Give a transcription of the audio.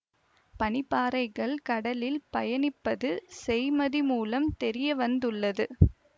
பனி பாறைகள் கடலில் பயணி ப்பது செய்மதி மூலம் தெரியவந்து உள்ளது